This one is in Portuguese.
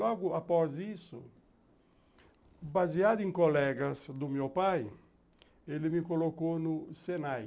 Logo após isso, baseado em colegas do meu pai, ele me colocou no Senai.